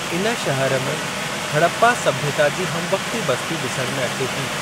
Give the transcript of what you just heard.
इन शहर में हड़प्पा सभ्यता जी हमवक्ती बस्ती ॾिसण में अचे थी।